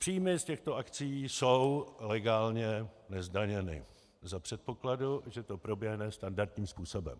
Příjmy z těchto akcií jsou legálně nezdaněny za předpokladu, že to proběhne standardním způsobem.